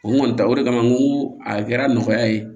O kɔni ta o de kama n ko a kɛra nɔgɔya ye